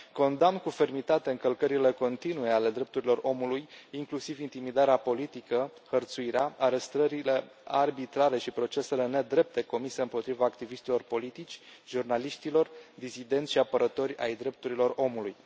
Condamn cu fermitate încălcările continue ale drepturilor omului, inclusiv intimidarea politică, hărțuirea, arestările arbitrare și procesele nedrepte comise împotriva activiștilor politici, jurnaliștilor disidenți și apărători ai drepturilor omului.